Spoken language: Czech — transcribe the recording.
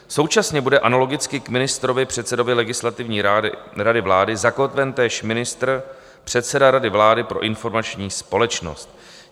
Současně bude analogicky k ministrovi - předsedovi Legislativní rady vlády zakotven též ministr - předseda Rady vlády pro informační společnost.